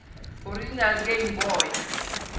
original game boy